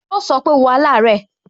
Yo so pé, "wo alare"